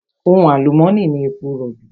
Ohun àlùmónì ni èpo rọ̀bì.